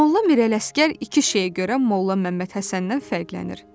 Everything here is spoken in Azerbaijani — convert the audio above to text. Molla Mirələşgər iki şeyə görə Molla Məmmədhəsəndən fərqlənir.